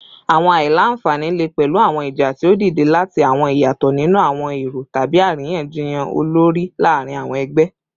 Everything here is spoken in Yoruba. Awọn aila-nfani le pẹlu awọn ija ti o dide lati awọn iyatọ ninu awọn ero tabi ariyanjiyan olori laarin awọn ẹgbẹ